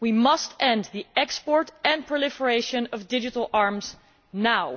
We must end the export and proliferation of digital arms now.